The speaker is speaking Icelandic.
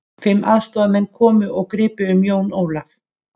Fimm aðstoðarmenn komu og gripu um Jón Ólaf.